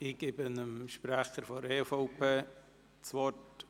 Ich gebe dem Fraktionssprecher der EVP das Wort.